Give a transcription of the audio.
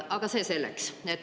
Aga see selleks.